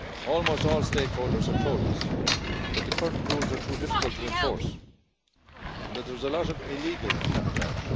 Almost all stakeholders have told us that the current rules are too difficult to enforce and that there is a lot of illegal cabotage.